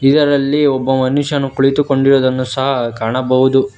ಇದರಲ್ಲಿ ಒಬ್ಬ ಮನುಷ್ಯನು ಕುಳಿತುಕೊಂಡಿರುವುದನ್ನು ಸಹ ಕಾಣಬಹುದು.